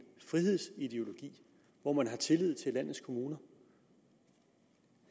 frihedsideologi hvor man har tillid til landets kommuner